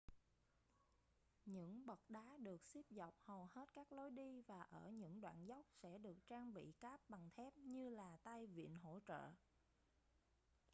những bậc đá được xếp dọc hầu hết các lối đi và ở những đoạn dốc sẽ được trang bị cáp bằng thép như là tay vịn hỗ trợ